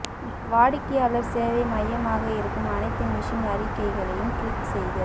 வாடிக்கையாளர் சேவை மையமாக இருக்கும் அனைத்து மிஷன் அறிக்கைகளையும் கிளிக் செய்க